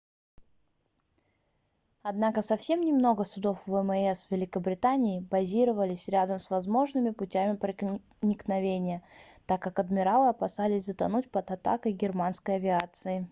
однако совсем немного судов вмс великобритании базировались рядом с возможными путями проникновения так как адмиралы опасались затонуть под атакой германской авиации